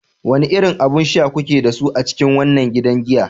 Wane irin abun sha kuke da su a cikin wannan gidan giya?